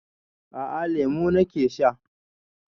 A a, lemu na ke sha.